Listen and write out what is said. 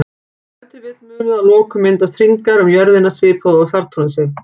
Ef til vill mundu að lokum myndast hringar um jörðina svipað og á Satúrnusi.